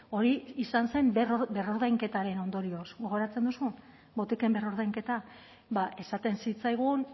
hori izan zen berrordainketaren ondorioz gogoratzen duzu botiken berrordainketa esaten zitzaigun